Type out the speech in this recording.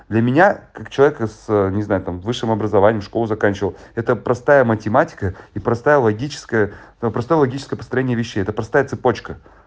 для меня как человека с не знаю там высшим образованием школу заканчивал это простая математика и простая логическая но простое логическое построение вещей это простая цепочка